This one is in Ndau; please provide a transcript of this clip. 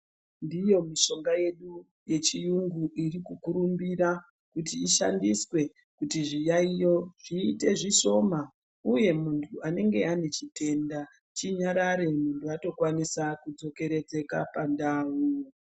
Ndiyo mishonga yedu yechiyungu irikukurumbira kuti ishandiswe kuti zviyaiyo zviite zvishoma, uye muntu anenge ane chitenda chinyarare muntu atokwanisika kudzokoredzeka pandau.